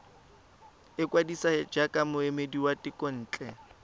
ikwadisa jaaka moemedi wa thekontle